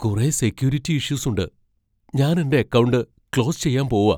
കുറേ സെക്യൂരിറ്റി ഇഷ്യൂസുണ്ട്. ഞാൻ എന്റെ അക്കൗണ്ട് ക്ലോസ് ചെയ്യാൻ പോവാ .